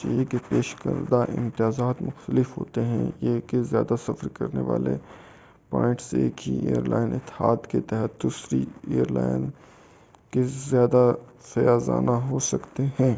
چاہئے کہ پیش کردہ امتیازات مختلف ہوتے ہیں اور یہ کہ زیادہ سفر کرنے والوں کے پوائنٹ ایک ہی ایر لائن اتحاد کے تحت کسی دوسری ایر لائن کے زیادہ فیاضانہ ہو سکتے ہیں